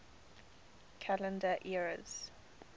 calendar eras